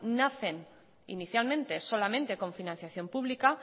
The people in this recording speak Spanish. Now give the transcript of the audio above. nacen inicialmente solamente con financiación pública